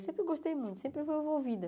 Eu sempre gostei muito, sempre fui envolvida.